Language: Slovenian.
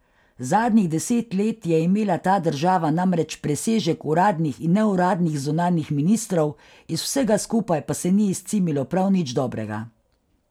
Zadnjih deset let je imela ta država namreč presežek uradnih in neuradnih zunanjih ministrov, iz vsega skupaj pa se ni izcimilo prav nič dobrega.